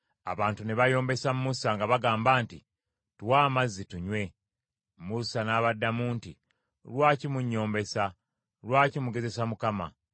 Abantu ne bayombesa Musa nga bagamba nti, “Tuwe amazzi tunywe.” Musa n’abaddamu nti, “Lwaki munnyombesa? Lwaki mugezesa Mukama ?”